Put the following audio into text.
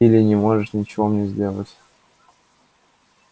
или не можете ничего мне сделать